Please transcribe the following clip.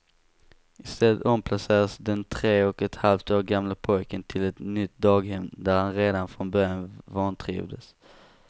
Istället omplacerades den tre och ett halvt år gamle pojken till ett nytt daghem där han redan från början vantrivdes.